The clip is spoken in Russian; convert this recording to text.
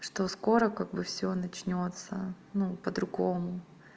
что скоро как бы всё начнётся ну по-другому